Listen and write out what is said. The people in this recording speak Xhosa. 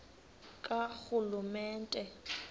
karhulumente